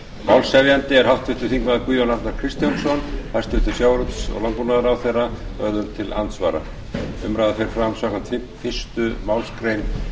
málshefjandi er háttvirtur þingmaður guðjón arnar kristjánsson hæstvirtum sjávarútvegs og landbúnaðarráðherra verður til andsvara umræðan fer fram samkvæmt fyrstu málsgrein